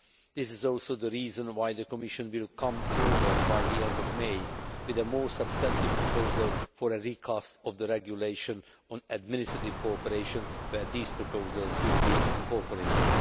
This is also the reason why the Commission will come forward, by the end of May, with a more substantive proposal for a recast of the regulation on administrative cooperation, where these proposals will be incorporated.